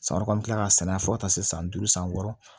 San wɛrɛ an bɛ tila ka sɛnɛ fo ka taa se san duuru san wɔɔrɔ